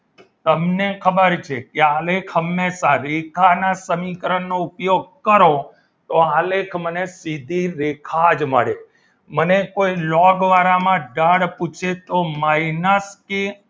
તમને ખબર છે કે આ લેખ હંમેશા રેખા ના સમીકરણનો ઉપયોગ કરો તો આલેખ મને સીધી રેખા જ મળે મને કોઈ લોગ વાળા માં ઢાળ પૂછે તો minus કે